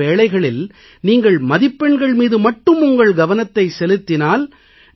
சில வேளைகளில் நீங்கள் மதிப்பெண்கள் மீது மட்டும் உங்கள் கவனத்தை செலுத்தினால்